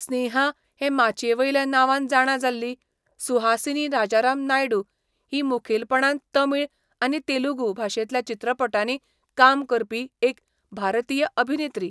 स्नेहा हे माचयेवेल्या नांवान जाणा जाल्ली, सुहासिनी राजाराम नायडू, ही मुखेलपणान तमिळ आनी तेलुगू भाशेंतल्या चित्रपटांनी काम करपी एक भारतीय अभिनेत्री.